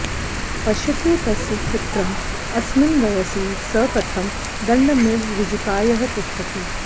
पश्यतु तस्य चित्रं अस्मिन् वयसि स कथं दण्डमिव ऋजुकायः तिष्ठति